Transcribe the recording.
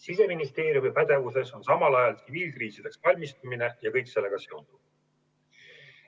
Siseministeeriumi pädevuses on samal ajal kriisideks valmistumine ja kõik sellega seonduv.